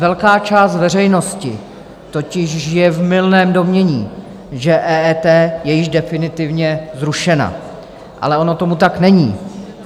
Velká část veřejnosti totiž žije v mylném domnění, že EET je již definitivně zrušeno, ale ono tomu tak není.